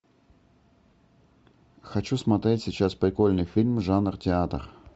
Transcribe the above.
хочу смотреть сейчас прикольный фильм жанр театр